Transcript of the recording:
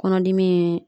Kɔnɔdimi ye